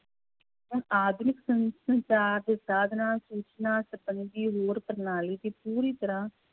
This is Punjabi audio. ਹੁਣ ਆਧੁਨਿਕ ਸੰ~ ਸੰਚਾਰ ਦੇ ਸਾਧਨਾਂ ਸੂਚਨਾ ਸੰਬੰਧੀ ਹੋਰ ਪ੍ਰਣਾਲੀ ਦੀ ਪੂਰੀ ਤਰ੍ਹਾਂ,